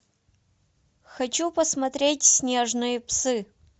хочу посмотреть снежные псы